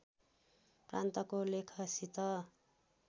प्रान्तको लेखसित